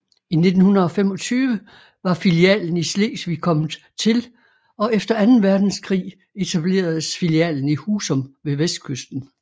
I 1925 var filialen i Slesvig kommet til og efter anden verdenskrig etableredes filialen i Husum ved vestkysten